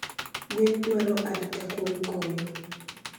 Gwen dwaro arita kuom koyo